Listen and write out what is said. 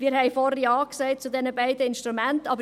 Wir haben vorhin zu diesen beiden Instrumenten Ja gesagt.